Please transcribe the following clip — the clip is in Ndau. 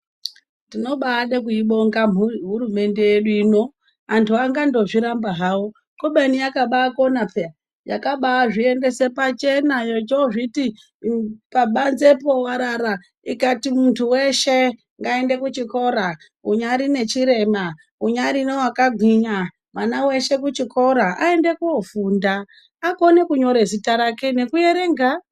Tinobade kuibonga hurumende yedu ino, antu angandozviramba hawo kubeni yakabakona pheya, yakabazviendese pachena yochozviti pabanzepo warara ikati muntu weshe ngaende kuchikora unyari nechirema, unyari newakagwinya mwana weshe kuchikora aende kofunda akone kunyore zita rake nekuerenga.